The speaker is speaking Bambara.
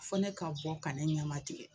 Fo ne ka bɔ ka ne ɲamatigɛ